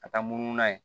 Ka taa munu n'a ye